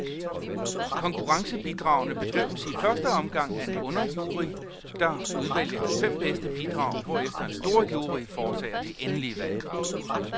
Konkurrencebidragene bedømmes i første omgang af en underjury, der udvælger de fem bedste bidrag, hvorefter en storjury foretager det endelige valg.